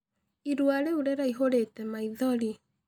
Ĩrũa rĩũ rĩraĩhũrĩte maĩthorĩ.